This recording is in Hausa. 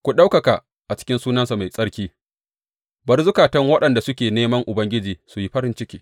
Ku ɗaukaka a cikin sunansa mai tsarki bari zukatan waɗanda suke neman Ubangiji su yi farin ciki.